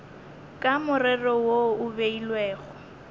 ka morero wo o beilwego